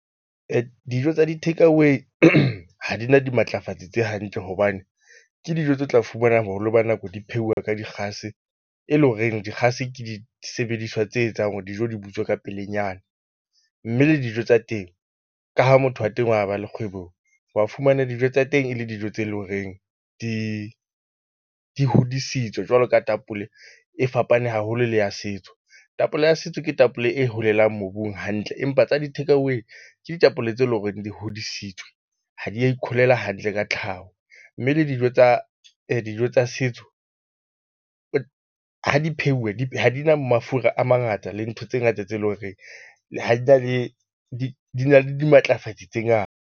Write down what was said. Dijo tsa di-takeaway ha di na dimatlafatsi tse hantle hobane ke dijo tse tla fumanang hore ba nako di pheuwa ka dikgase, e leng horeng dikgase ke disebediswa tse etsang hore dijo di butswe ka pelenyana. Mme le dijo tsa teng ka ha motho wa teng wa ba le kgwebong, wa fumana dijo tsa teng e le dijo tse leng horeng di di hodisitswe jwalo ka tapole e fapane haholo le ya setso. Tapole ya setso ke tapole e holelang mobung hantle empa tsa di-takeaway. Ke ditapole tse leng hore di hodisitswe ha di ya ikholela hantle ka tlhaho, mme le dijo tsa dijo tsa setso ha di pheuwe di ha di na mafura a mangata le ntho tse ngata tse leng horeng ha di na le di di na le dimatlafatsi tse .